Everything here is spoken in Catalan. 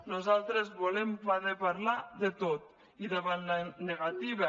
nosaltres volem poder parlar de tot i davant la negativa